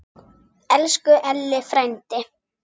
Elsku Elli frændi.